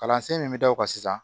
Kalansen min bɛ da o kan sisan